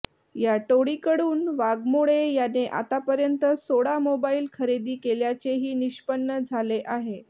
या टोळीकडून वाघमोडे याने आतापर्यंत सोळा मोबाईल खरेदी केल्याचेही निष्पन्न झाले आहे